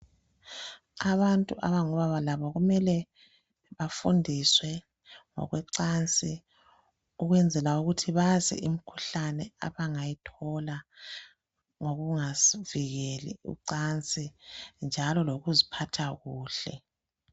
Abantu abangobaba labo kumele bafundiswe ngokwecansi ukwenzela ukuthi bazi imkhuhlane abangayithola ngokungazivikeli kucansi njalo lokuziphatha kuhle.